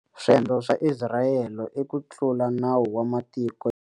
Swendlo swa Isirayele i ku tlula nawu wa matiko.